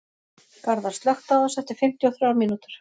Garðar, slökktu á þessu eftir fimmtíu og þrjár mínútur.